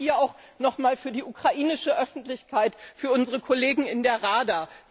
Das sage ich hier auch nochmal für die ukrainische Öffentlichkeit, für unsere Kollegen in der Rada.